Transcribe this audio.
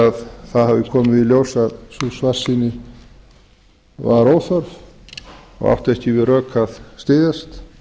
það hafi komið í ljós að sú svartsýni var óþörf og átti ekki við rök að styðjast